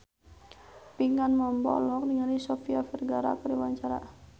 Pinkan Mambo olohok ningali Sofia Vergara keur diwawancara